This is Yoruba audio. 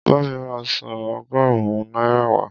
Bá mi ra ọsàn ọgọ́rùn-ún náírà wá.